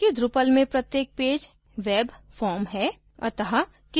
याद रखें कि drupal में प्रत्येक पैज web form है